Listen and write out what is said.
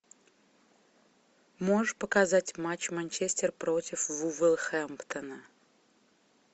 можешь показать матч манчестер против вулверхэмптона